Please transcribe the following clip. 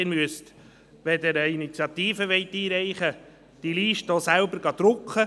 Wenn Sie eine Initiative einreichen wollen, müssen Sie die Listen selber drucken.